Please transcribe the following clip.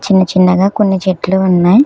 చిన్న చిన్నగా కొన్ని చిట్లు ఉన్నాయ్.